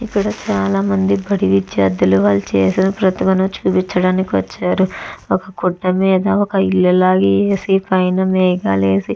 ఇక్కడ చాల మంది బడి విద్యార్థులు వాలు చేసిన ప్రతిభను చూపించటానికి వచ్చారు ఒక గుడ్డ మీద ఒక ఇళ్ల లాగా వేసి పైన మేఘాలు వేసి --